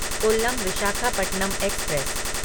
Kollam Visakhapatnam express